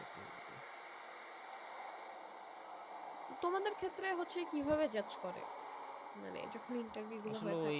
তোমাদের ক্ষেত্রে হচ্ছে কি ভাবে judge করে মানে যখন interview গুলো